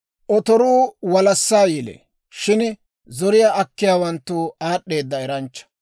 Otoruu walassaa yelee; shin zoriyaa akkiyaawanttu aad'd'eeda eranchcha.